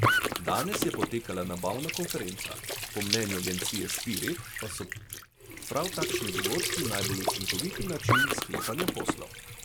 Danes je potekala nabavna konferenca, po mnenju agencije Spirit pa so prav takšni dogodki najbolj učinkovit način sklepanja poslov.